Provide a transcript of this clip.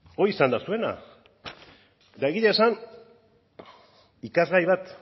hori izan da zuena eta egia esan ikasgai bat